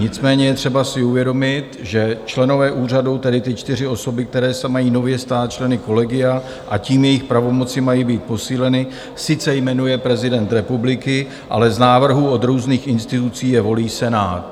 Nicméně je třeba si uvědomit, že členové úřadu, tedy ty čtyři osoby, které se mají nově stát členy kolegia, a tím jejich pravomoci mají být posíleny, sice jmenuje prezident republiky, ale z návrhů od různých institucí je volí Senát.